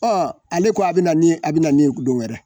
Ɔ ale ko a bɛna ni a bɛna ni dɔ wɛrɛ.